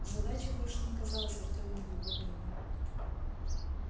задача больше не казалась артему невыполнимой